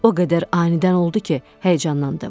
O qədər anidən oldu ki, həyəcanlandım.